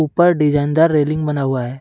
क्या डिजाइनदार रेलिंग बना हुआ है।